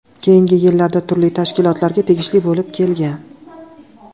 Keyingi yillarda turli tashkilotlarga tegishli bo‘lib kelgan.